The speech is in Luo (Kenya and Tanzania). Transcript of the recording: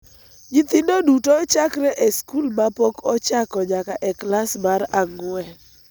Nyithindo duto chakre e sikul ma pok ochako nyaka e klas mar ang�wen